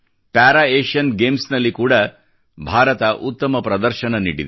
para Asian games ಗಳಲ್ಲಿ ಕೂಡಾ ಭಾರತ ಉತ್ತಮ ಪ್ರದರ್ಶನ ನೀಡಿದೆ